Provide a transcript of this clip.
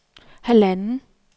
halvanden